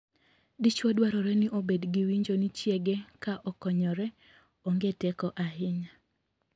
Dichwo dwarore ni obed gi winjo ni chiege ka okonyore, oonge teko ahinya.